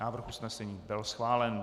Návrh usnesení byl schválen.